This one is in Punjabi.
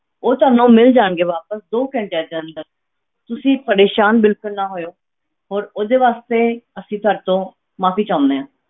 ਉਹ ਤੁਹਾਨੂੰ ਮਿਲ ਜਾਣਗੇ ਵਾਪਸ ਦੋ ਘੰਟਿਆਂ ਦੇ ਅੰਦਰ ਤੁਸੀਂ ਪਰੇਸਾਨ ਬਿਲਕੁਲ ਨਾ ਹੋਇਓ, ਹੋਰ ਉਹਦੇ ਵਾਸਤੇ ਅਸੀਂ ਤੁਹਾਡੇ ਤੋਂ ਮਾਫ਼ੀ ਚਾਹੁੰਦੇ ਹਾਂ।